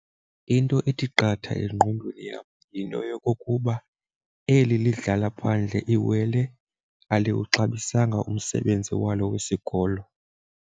Into ethi qatha engqondweni yam yinto yokokuba eli lidlala phandle iwele aliwuxabisanga umsebenzi walo wesikolo.